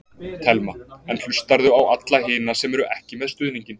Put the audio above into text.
Telma: En hlustarðu á alla hina sem eru ekki með stuðninginn?